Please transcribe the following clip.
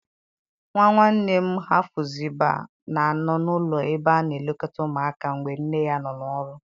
Nwa nwanne m Hefụziba na-anọ n'ụlọ ebe a na-elekọta ụmụaka mgbe nne ya nọ n'ọrụ.